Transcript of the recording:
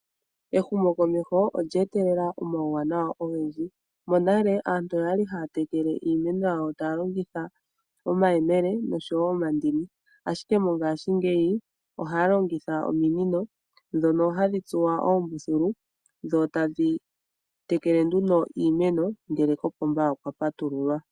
Ehumo komeho olya etelele omauwanawa ogendji. Monale aantu oyali haya tekele iimeno yawo taya longitha omayemele noshowo omandini. Ashike mongashingeyi ohaa longitha ominino dhono hadhi tsuwa oombuthulu dho tadhi tekele nduno iimeno ngele kopomba okwa patululwa.